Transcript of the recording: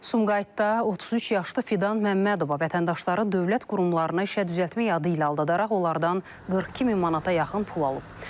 Sumqayıtda 33 yaşlı Fidan Məmmədova vətəndaşları dövlət qurumlarına işə düzəltmək adı ilə aldadaraq onlardan 42 min manata yaxın pul alıb.